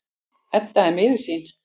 Edda er miður sín.